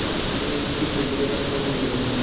पंचायत की तैयारियाँ होने लगीं